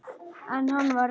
En hann var reiður!